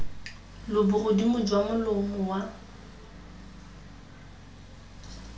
lo bogodimo jwa molomo wa